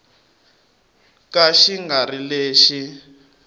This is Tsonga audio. ka xi nga ri lexi